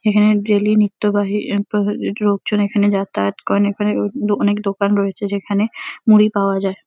এখানে ডেইলি নিত্যবাহী লোকজন এখানে যাতায়াত করে। এখানে অনেক দোকান রয়েছে যেখানে মুড়ি পাওয়া যায়।